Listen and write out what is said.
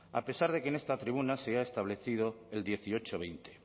a pesar de que en esta tribuna se ha establecido el dieciocho veinte